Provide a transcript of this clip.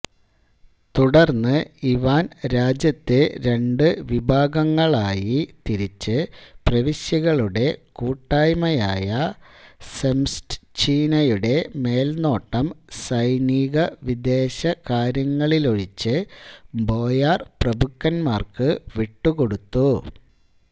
തുടർന്ന് ഇവാൻ രാജ്യത്തെ രണ്ടു വിഭാഗങ്ങളായി തിരിച്ചു പ്രവിശ്യകളുടെ കൂട്ടായ്മയായ സെംസ്റ്റ്ഛീനയുടെ മേൽനോട്ടം സൈനികവിദേശകാര്യങ്ങളിലൊഴിച്ച് ബോയാർ പ്രഭുക്കന്മാർക്ക് വിട്ടുകൊടുത്തു